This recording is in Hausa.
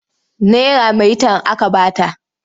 Naira maitan aka ba ta.